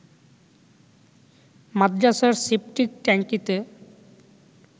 মাদরাসার সেপটিক ট্যাংকিতে